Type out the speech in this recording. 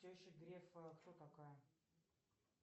теща грефа кто такая